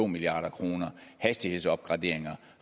milliard kroner hastighedsopgraderinger